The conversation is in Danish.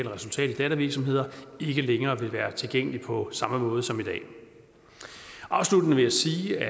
og resultat i dattervirksomheder ikke længere vil være tilgængelig på samme måde som i dag afsluttende vil jeg sige at